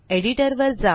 editor वर जा